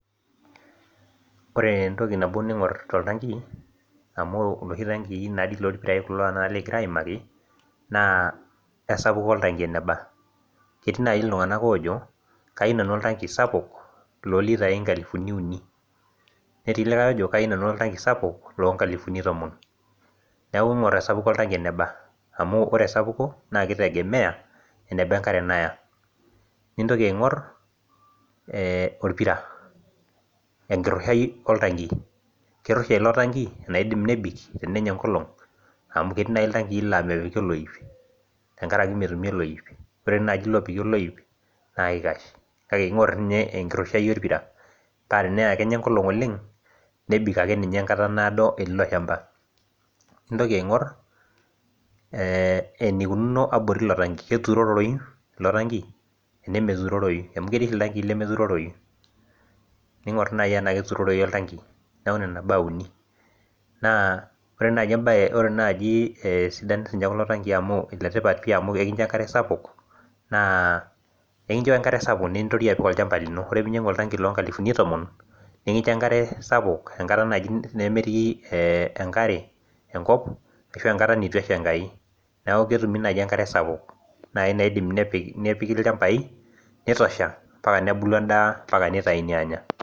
Ore entoki nabo ningor toltanki amu loshi tankii naadi kulo lorpirai likingira aimaki naa esapuko oltanki eneba. Ketii naji iltunganak oojo kayieu nanu oltanki sapuk loolitai nkalifuni uni. Netii likae ojo kayieu nanu oltanki sapuk lolitai nkalifuni tomon. Neeku ingoru esapuko eneba amu ore esapuko, naa kitegemea eneba enkare Naya. Nintoki aingor orpira enkirushai oltanki ,keirusha ilo tanki enaidim nebik tenenya enkolong. Amu ketii naaji iltanki laa mepiki oloip tenkaraki metumi oloip, ore naaji ilo opiki oloip naa kikash kake ingor ninye enkirushai orpira paa tenaa kenya enkolong oleng ,nebik ake ninye enkata naado etii ilo shampa. Nintoki aingor enikununo abori ilo tanki, keturoroyu ilo tanki ena meturoroyu amu ketii oltanki lemeturoroyu. Ningor naaji tena keturoroyu oltanki neeku nena baa uni. Naa ore sii ninye sidano ekulo tankin amu letipat pi amu enkincho enkare sapuk nintorioi apik olchampa lino. Ore pee inyangu oltanki loonkalifuni tomon, nikincho enkare sapuk enkata naaji nemetii enkare enkop ashu enkata neitu esha Enkai .Neeku ketumi naaji enkare sapuk naaji naidim nepikita ilchampai nitosha mapaka nebulu nitayuni anya.